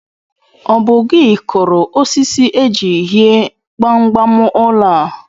Ọ bụ gị kụrụ osisi e ji hie gbamgbam ụlọ a